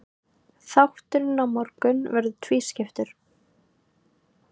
Þátturinn á morgun verður tvískiptur.